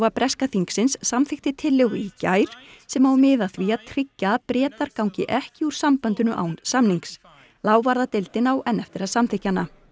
breska þingsins samþykkti tillögu í gær sem á að miða að því að tryggja að Bretar gangi ekki úr sambandinu án samnings á enn eftir að samþykkja hana